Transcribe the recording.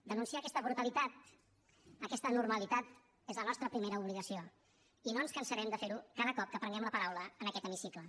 denunciar aquesta brutalitat aquesta anormalitat és la nostra primera obligació i no ens cansarem de fer ho cada cop que prenguem la paraula en aquest hemicicle